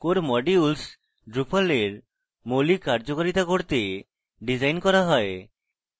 core modules drupal এর মৌলিক কার্যকারিতা করতে ডিজাইন core হয়